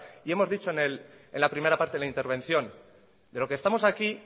y hemos dicho en la primera parte de la intervención de lo que estamos aquí